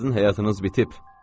Sizin həyatınız bitib.